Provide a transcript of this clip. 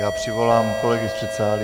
Já přivolám kolegy z předsálí.